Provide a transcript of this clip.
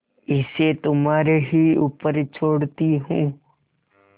इसे तुम्हारे ही ऊपर छोड़ती हूँ